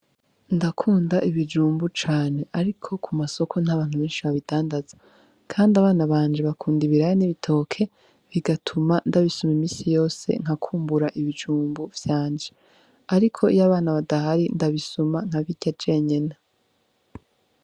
Ndakunda ibijumbu cane, ariko ku masoko nt'abantu benshi babidandaza, kandi abana banje bakunda ibiraya n'ibitoke bigatuma ndabisuma imisi yose nkakumbura ibijumbu vyanje, ariko iyo abana badahari ndabisuma nkabirya jenyene.